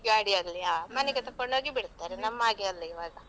ಗಾಡಿ ಅಲ್ಲಿ ಮನೆಗೆ ತಗೊಂಡು ಹೋಗಿ ಬಿಡ್ತಾರೆ. ನಮ್ಮಾಗೆ ಅಲ್ಲ ಇವಾಗ.